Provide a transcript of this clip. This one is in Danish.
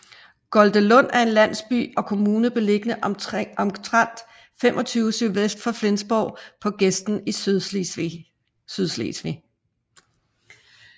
Goldelund er en landsby og kommune beliggende omtrent 25 sydvest for Flensborg på gesten i Sydslesvig